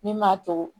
Min m'a to